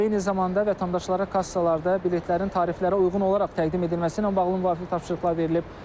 Eyni zamanda vətəndaşlara kassalarda biletlərin tariflərə uyğun olaraq təqdim edilməsi ilə bağlı müvafiq tapşırıqlar verilib.